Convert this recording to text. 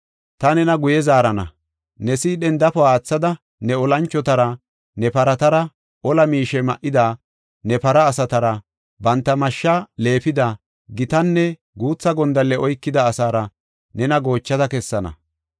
Ta nena guye zaarana; ne sidhen dafo aathada, ne olanchotara, ne paratara, ola miishe ma7ida ne para asatara, banta mashsha leefida, gitanne guutha gondalle oykida asaara nena goochada kessana.